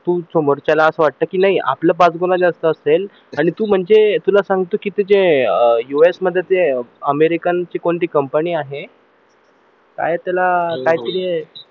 तू समोरच्याला असं वाटत कि नाही पाचगुणा आपलं जास्त असेल आणि तू म्हणजे तुला सांगतो कि अह जे US मध्ये जे अमेरिकन ची कोणती company आहे आहे काय त्याला काहीतरी हे